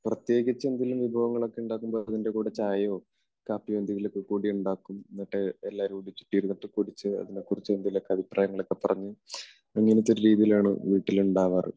പ്രത്യേകിച്ച് നമ്മൾ എന്തെങ്കിലും വിഭവങ്ങളൊക്കെ ഉണ്ടാകുമ്പോൾ അതിനെ കൂടെ ചായയോ കാപ്പിയോ എന്തെങ്കിലുമൊക്കെ കൂടെയുണ്ടാക്കും. എന്നിട്ട് എല്ലാവരും കൂടെ ചുറ്റി ഇരുന്നിട്ടു കുടിച്ച് അതിനെക്കുറിച്ച് എന്തെങ്കിലുമൊക്കെ അഭിപ്രായങ്ങൾ ഒക്കെ പറഞ്ഞ്, അങ്ങനത്തെയൊരു രീതിയിലാണ് വീട്ടിൽ ഉണ്ടാകാറ്.